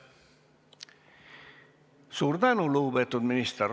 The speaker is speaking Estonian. Suur tänu, lugupeetud minister!